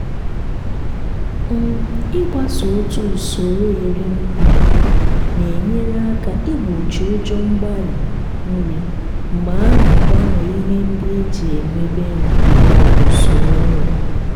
um ịgbaso otu usoro erim nri na-enyere aka igbochi ụjọ mgbarị nri mgbe a na-agbanwe ihe ndị e ji emebe nri maọbụ usoro nri.